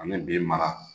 Ani bi mara